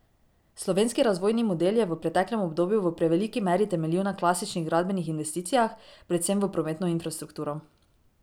Slovenski razvojni model je v preteklem obdobju v preveliki meri temeljil na klasičnih gradbenih investicijah, predvsem v prometno infrastrukturo.